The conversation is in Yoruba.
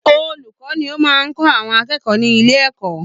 Olùkọ́ ni ó máa ń kọ́ àwọn akẹkọ̀ọ́ ní ilé ẹ̀kọ́